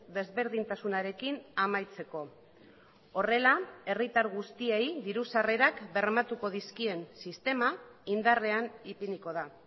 desberdintasunarekin amaitzeko horrela herritar guztiei diru sarrerak bermatuko dizkien sistema indarrean ipiniko da